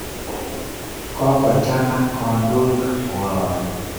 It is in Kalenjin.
Kokochang'a kandoik koroni